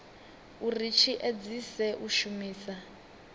uri tshi edzise u shumisa